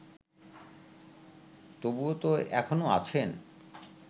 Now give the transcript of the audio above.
তবুও তো এখনো আছেন